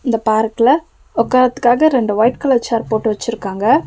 இந்த பார்க்ல உட்காரத்துக்காக ரெண்டு வொய்ட் கலர் சேர் போட்டு வெச்சிருக்காங்க.